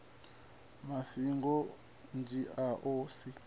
fariwaho u dzhiiwa a si